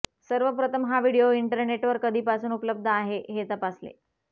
सर्वप्रथम हा व्हिडियो इंटरनेटवर कधीपासून उपलब्ध आहे हे तपासले